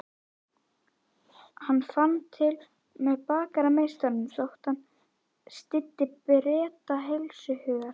Hann fann til með bakarameistaranum þótt hann styddi Breta heilshugar.